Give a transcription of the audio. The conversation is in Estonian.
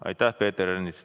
Aitäh, Peeter Ernits!